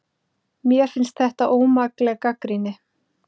Mér finnst þetta ómakleg gagnrýni